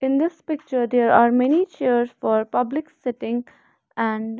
in this picture there are many chairs for public sitting and --